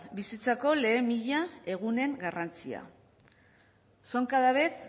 bizitzako lehen mila egunen garrantzia son cada vez